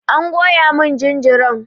An goya mun jinjiran.